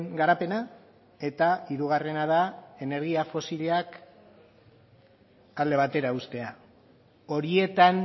garapena eta hirugarrena da energia fosilak alde batera uztea horietan